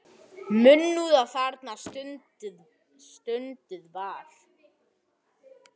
Munúð þarna stunduð var.